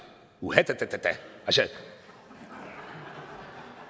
uha da da